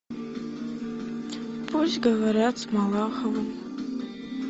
пусть говорят с малаховым